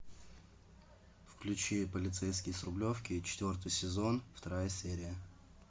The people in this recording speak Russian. включи полицейский с рублевки четвертый сезон вторая серия